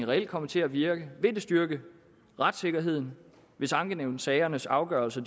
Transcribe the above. reelt komme til at virke vil det styrke retssikkerheden hvis ankenævnssagernes afgørelse